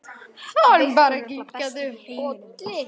Hann kinkaði bara kolli.